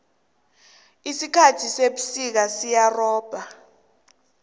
isikhathi sebusika siyarhaba